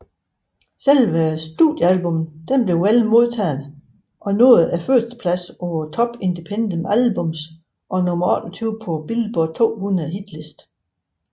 Selve studiealbummet blev vel modtaget og nåede førstepladsen på Top Independent Albums og nummer 28 på Billboard 200 hitlisten